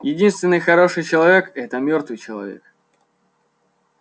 единственный хороший человек это мёртвый человек